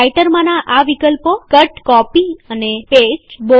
રાઈટરમાંના આ વિકલ્પો160 કટ કાપવુંકોપી નકલ કરવું અને પેસ્ટચોટાડવું